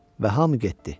Və hamı getdi.